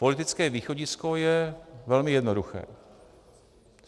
Politické východisko je velmi jednoduché.